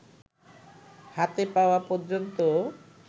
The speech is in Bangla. হাতে পাওয়া পর্যন্ত